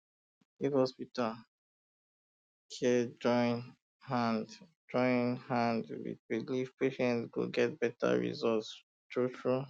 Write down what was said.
if um hospital um care join hand join hand with belief patient go get better result truetrue